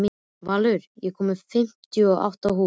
Valur, ég kom með fimmtíu og átta húfur!